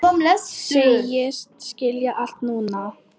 Segist skilja allt núna.